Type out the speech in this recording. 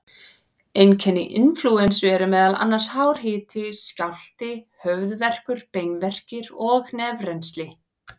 Einkenni inflúensu eru meðal annars hár hiti, skjálfti, höfuðverkur, beinverkir og nefrennsli.